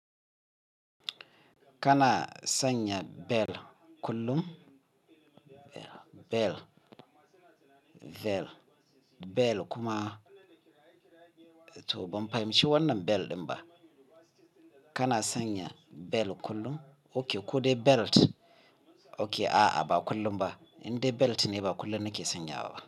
Kana sanya bel kullum? Bel, bel kuma to ban fahimci wannan bel ɗin ba. Kana sanya bel kullum? Ok, ko dai belt? Ok a'a ba kullum ba, in dai belt ne ba kullum nake sanyawa ba.